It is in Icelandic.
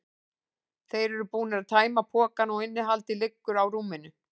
Þeir eru búnir að tæma pokana og innihaldið liggur á rúminu.